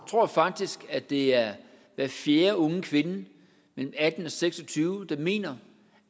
tror faktisk at det er hver fjerde unge kvinde mellem atten og seks og tyve selv mener